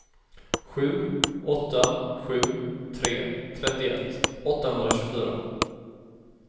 sju åtta sju tre trettioett åttahundratjugofyra